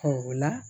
o la